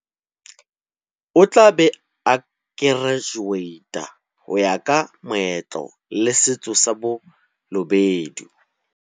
O tla be a kerajuweita ho ya ka meetlo le setso sa Ba lobedu.